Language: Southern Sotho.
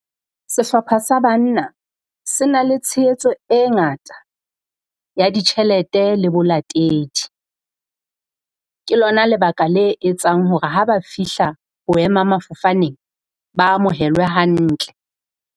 Sehlopha sa banna se na le tshehetso e ngata ya ditjhelete le bolatedi. Ke lona lebaka le etsang hore ha ba fihla boema mafofane ba amohelwe hantle.